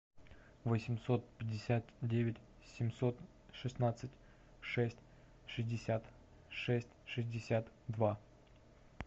восемьсот пятьдесят девять семьсот шестнадцать шесть шестьдесят шесть шестьдесят два